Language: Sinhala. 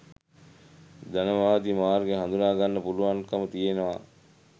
ධනවාදී මාර්ගය හඳුනා ගන්න පුළුවන්කම තියෙනවා.